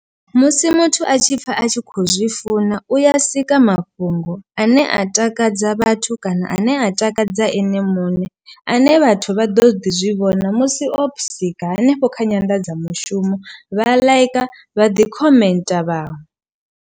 Musi muthu a tshi pfha a tshi kho zwi funa u ya sika mafhungo ane a takadza vhathu kana ane a takadza ene muṋe, ane vhathu vha ḓo ḓi zwivhona musi o sika hanefho kha nyanḓadzamushumo vha ḽaika vha ḓi khomentha vhawe.